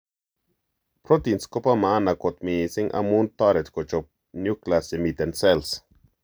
Proteins Kopo maana kot missing amun toret kochop nucleus chemiten cells.